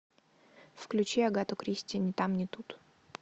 включи агату кристи ни там ни тут